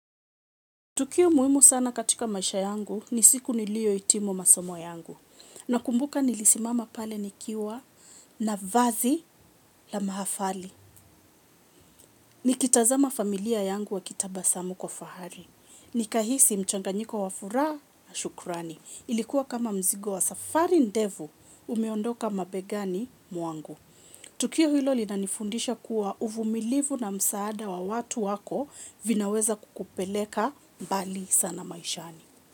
Tukio muhimu sana katika maisha yangu ni siku niliohitimu masomo yangu. Nakumbuka nilisimama pale nikiwa na vazi la mahafali. Nikitazama familia yangu wakitabasamu kwa fahari. Nikahisi mchanganyiko wa furaha na shukurani. Ilikuwa kama mzigo wa safari ndefu umeondoka mabegani mwangu. Tukio hilo linanifundisha kuwa uvumilivu na msaada wa watu wako vinaweza kukupeleka mbali sana maishani.